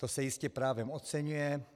To se jistě právem oceňuje.